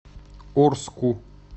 орску